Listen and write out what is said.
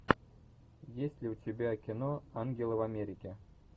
есть ли у тебя кино ангелы в америке